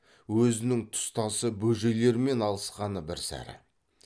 өзінің тұс тасы бөжейлермен алысқаны бір сәрі